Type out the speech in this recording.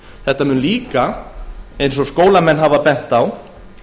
það mun líka eins og skólamenn hafa bent á